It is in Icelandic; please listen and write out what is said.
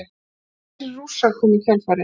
Fleiri Rússar komu í kjölfarið.